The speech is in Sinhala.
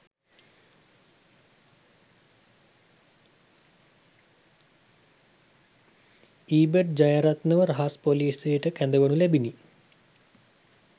ඊබට්‌ ජයරත්නව රහස්‌ පොලීසියට කැදවනු ලැබිණි